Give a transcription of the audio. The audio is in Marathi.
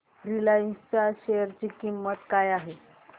रिलायन्स च्या शेअर ची किंमत काय आहे